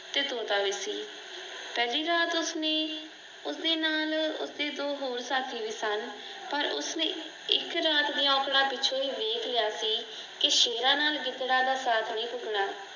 ਤੇ ਤੋਤਾ ਵੀ ਸੀ ਪਹਿਲੀ ਰਾਤ ਉਸਨੇ ਉਸਦੇ ਨਾਲ ਉਸਦੇ ਦੋ ਹੋਰ ਸਾਥੀ ਵੀ ਸਨ। ਪਰ ਉਸਨੇ ਇੱਕ ਰਾਤ ਦੀਆਂ ਔਕੜਾਂ ਪਿੱਛੇ ਇਹ ਵੇਖ ਲਿਆ ਸੀ ਕਿ ਸ਼ੇਰਾਂ ਨਾਲ ਗਿਦੜਾ ਦਾ ਸਾਥ ਨਹੀਂ ਢੁੱਕਣਾ।